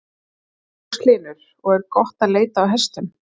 Magnús Hlynur: Og er gott að leita á hestum?